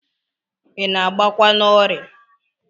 I na-agbakwa n'ọrịa?